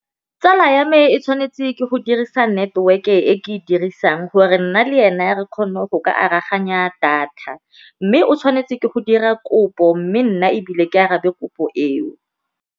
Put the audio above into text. Tsala ya me e tshwanetse ke go dirisa network-e e ke e dirisang gore nna le ene re kgone go ka aroganya data, mme o tshwanetse ke go dira kopo mme nna ebile ke arabe kopo eo.